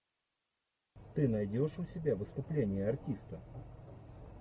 ты найдешь у себя выступление артиста